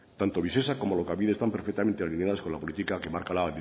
tanto visesa como alokabide están perfectamente alineadas con la política que marca la